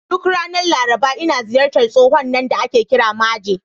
Duk ranar Laraba, ina ziyartar tsohon nan da ake kira Maje.